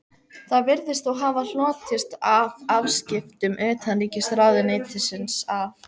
Það virðist þó hafa hlotist af afskiptum utanríkisráðuneytisins af